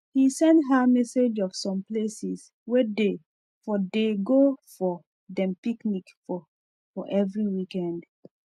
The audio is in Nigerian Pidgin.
he send her message of some places wey dey for dey go for dem picnic for for every weekend